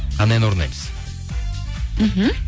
қандай ән орындаймыз мхм